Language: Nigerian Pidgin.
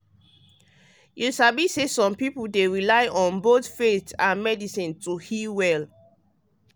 you sabi say some people dey rely on both faith and medicine to heal well.